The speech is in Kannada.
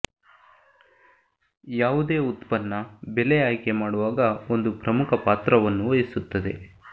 ಯಾವುದೇ ಉತ್ಪನ್ನ ಬೆಲೆ ಆಯ್ಕೆ ಮಾಡುವಾಗ ಒಂದು ಪ್ರಮುಖ ಪಾತ್ರವನ್ನು ವಹಿಸುತ್ತದೆ